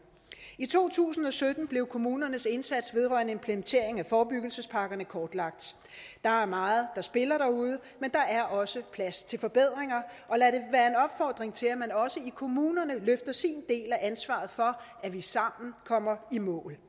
i to tusind og sytten blev kommunernes indsats vedrørende implementering af forebyggelsespakkerne kortlagt der er meget der spiller derude men der er også plads til forbedringer og lad det være en opfordring til at man også i kommunerne af ansvaret for at vi sammen kommer i mål